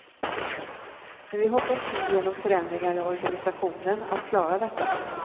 Men vi hoppas nu genom förändringar i organisationen att klara detta.